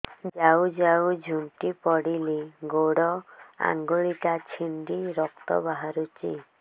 ଯାଉ ଯାଉ ଝୁଣ୍ଟି ପଡ଼ିଲି ଗୋଡ଼ ଆଂଗୁଳିଟା ଛିଣ୍ଡି ରକ୍ତ ବାହାରୁଚି